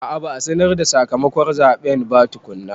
A a, ba a sanar da sakamakon zaɓen ba tukunna.